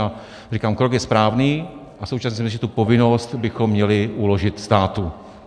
A říkám, krok je správný, a současně si myslím, že tu povinnost bychom měli uložit státu.